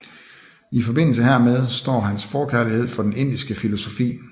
I forbindelse hermed står hans forkærlighed for den indiske filosofi